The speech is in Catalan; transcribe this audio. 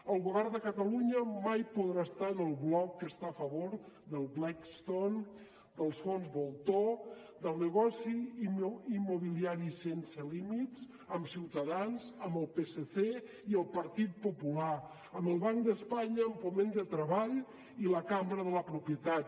el govern de catalunya mai podrà estar en el bloc que està a favor de blackstone dels fons voltor del negoci immobiliari sense límits amb ciutadans amb el psc i el partit popular amb el banc d’espanya amb foment de treball i la cambra de la propietat